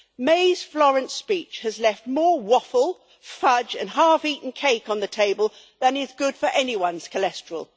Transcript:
May's Florence speech has left more waffle, fudge and half eaten cake on the table than is good for anyone's cholesterol.